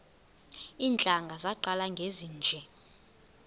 iintlanga zaqala ngezinje